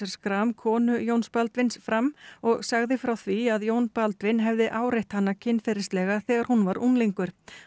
Schram konu Jóns Baldvins fram og sagði frá því að Jón Baldvin hefði áreitt hana kynferðislega þegar hún var unglingur